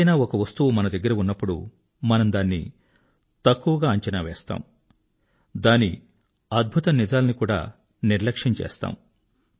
ఏదైనా ఒక వస్తువు మన దగ్గర ఉన్నప్పుడు మనము దాన్ని అండరెస్టిమేట్ చేస్తాము దాని అమేజింగ్ ఫ్యాక్ట్స్ ని కూడా నిర్లక్ష్యం చేస్తాము